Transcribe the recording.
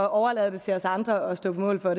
og overlader det til os andre at stå på mål for